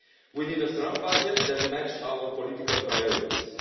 We need a strong budget that matches our political priorities.